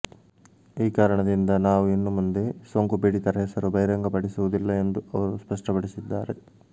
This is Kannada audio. ಈ ಕಾರಣದಿಂದ ನಾವು ಇನ್ನು ಮುಂದೆ ಸೋಂಕುಪೀಡಿತರ ಹೆಸರು ಬಹಿರಂಗಪಡಿಸುವುದಿಲ್ಲ ಎಂದು ಅವರು ಸ್ಪಷ್ಟಪಡಿಸಿದ್ದಾರೆ